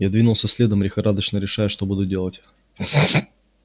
я двинулся следом лихорадочно решая что буду делать